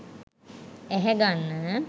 ඇහැ ගන්න